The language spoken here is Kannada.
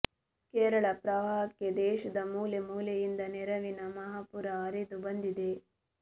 ಕೇರಳ ಪ್ರವಾಹಕ್ಕೆ ದೇಶದ ಮೂಲೆ ಮೂಲೆಯಿಂದ ನೆರವಿನ ಮಹಾಪೂರ ಹರಿದು ಬಂದಿದೆ